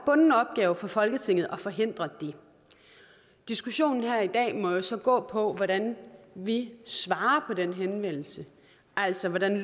bunden opgave for folketinget at forhindre det diskussionen her i dag må jo så gå på hvordan vi svarer på den henvendelse altså hvordan